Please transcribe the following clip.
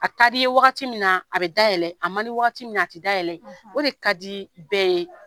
A ka d'i ye wagati min na a bɛ dayɛlɛ a man di wagati min na a tɛ dayɛlɛ o de ka di bɛɛ ye